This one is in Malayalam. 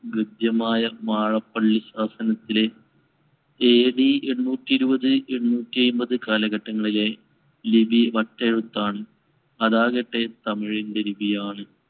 ഗദ്യമായ വാഴപ്പള്ളി ശാസനത്തിലെ AD എണ്ണൂറ്റി ഇരുപത് എണ്ണൂറ്റി അയമ്പത് കാലഘട്ടങ്ങളിലെ ലിപി വട്ടെഴുത്താണ്. അതാകട്ടെ തമിഴിന്‍റെ ലിപിയാണ്.